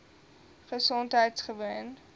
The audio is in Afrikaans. gesondheidgewoon